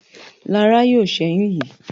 Lara yóò ṣẹyun yí.